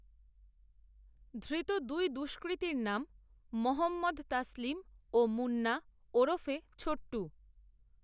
ধৃত দুই দষ্কৃতীর নাম মহম্মদ তসলিম ও, মুন্না ওরফে, ছোট্টু